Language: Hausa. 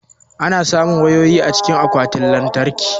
Ana samun wayoyi cikin akwatin lantarkin